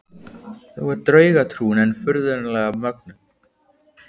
Þó er draugatrúin enn furðanlega mögnuð.